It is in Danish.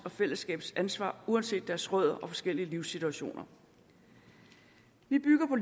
og fællesskabets ansvar uanset deres rødder og deres forskellige livssituationer vi bygger